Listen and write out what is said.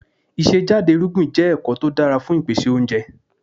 Ìṣe jáde irúgbìn jẹ́ ẹ̀kọ́ tó dára fún ìpèsè oúnjẹ.